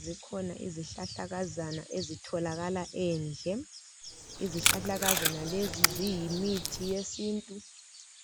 Zikhona izihlahlakaza ezitholakala endle. Izihlahlakazana lezi ziyimithi yesintu,